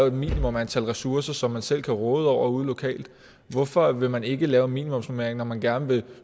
et minimum antal ressourcer som man selv kan råde over ude lokalt hvorfor vil man ikke lave en minimumsnormering når man gerne vil